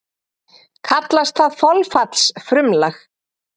Kallast það þolfallsfrumlag.